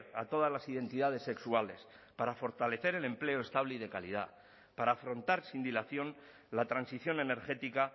a todas las identidades sexuales para fortalecer el empleo estable y de calidad para afrontar sin dilación la transición energética